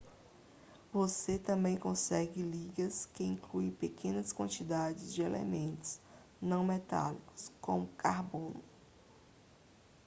você também consegue ligas que incluem pequenas quantidades de elementos não metálicos como carbono